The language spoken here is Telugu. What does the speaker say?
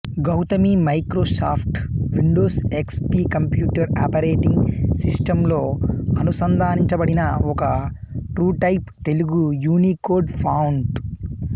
Gautami Microsoft Windows X P computer operating సిస్టంలో అనుసంధానించబడిన ఒక ట్రూటైప్ తెలుగు యూనీకోడ్ ఫాంటు